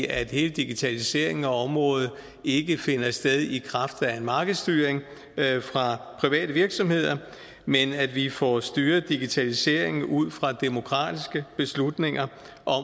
at hele digitaliseringen af området ikke finder sted i kraft af en markedsstyring fra private virksomheder men at vi får styret digitaliseringen ud fra demokratiske beslutninger